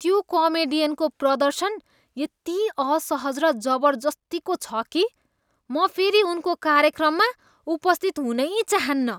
त्यो कमेडियनको प्रदर्शन यति असहज र जबर्जस्तीको छ कि म फेरि उनको कार्यक्रममा उपस्थित हुनै चाहन्नँ।